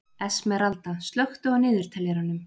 Esmeralda, slökktu á niðurteljaranum.